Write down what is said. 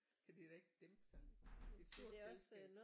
Kan de da ikke dæmpe sig det er et stort selskab